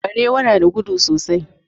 Barewa na da gudu sosai.